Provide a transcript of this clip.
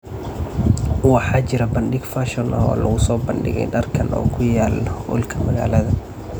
Waxaa jira bandhig fashion ah oo lagu soo bandhigay dharkan oo ku yaal hoolka magaalada.